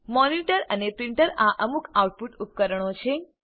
monitor અને printer આ અમુક આઉટપુટ ઉપકરણો છે